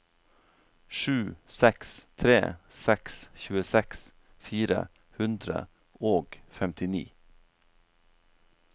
sju seks tre seks tjueseks fire hundre og femtini